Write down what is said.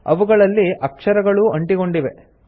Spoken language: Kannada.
ಅವುಗಳಲ್ಲಿ ಅಕ್ಷರಗಳೂ ಅಂಟಿಕೊಂಡಿವೆ